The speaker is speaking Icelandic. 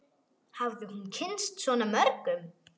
Hafði hún kynnst svona mörgum?